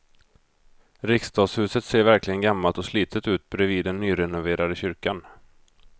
Riksdagshuset ser verkligen gammalt och slitet ut bredvid den nyrenoverade kyrkan.